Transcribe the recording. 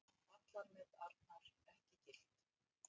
Vallarmet Arnar ekki gilt